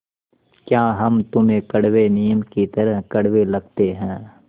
या हम तुम्हें कड़वे नीम की तरह कड़वे लगते हैं